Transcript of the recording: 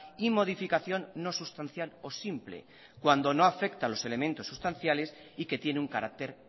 y modificación no sustancial o simple cuando no afecta a los elementos sustanciales y que tiene un carácter